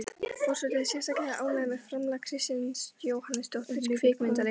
Forseti er sérstaklega ánægð með framlag Kristínar Jóhannesdóttur kvikmyndaleikstjóra.